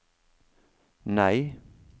nei